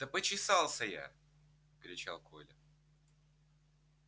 да почесался я кричал коля